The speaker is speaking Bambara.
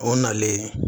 O nalen